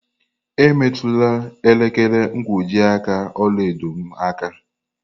Emetụla elekere nkwojiaka ọla edo m aka!